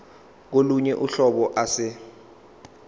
kolunye uhlobo ase